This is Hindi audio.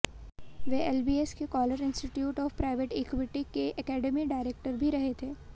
वे एलबीएस के Coller institute of private equity के एकेडमिक डायरेक्टर भी रहे थे